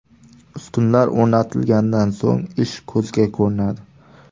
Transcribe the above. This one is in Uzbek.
Ustunlar o‘rnatilganidan so‘ng ish ko‘zga ko‘rinadi.